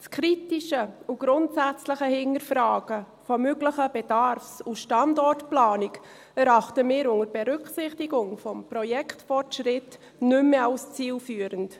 Das kritische und grundsätzliche Hinterfragen einer möglichen Bedarfs- und Standortplanung erachten wir unter Berücksichtigung des Projektfortschritts nicht mehr als zielführend.